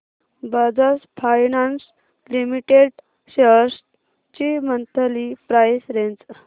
Bajaj Finance Limited shares ची monthly price range